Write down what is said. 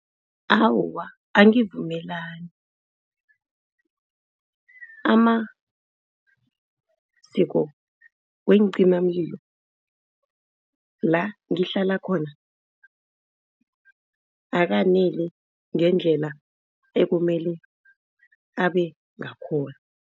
Awa, angivumelani. Amaziko weencimamlilo la ngihlala khona akaneli ngendlela ekumele abengakhona.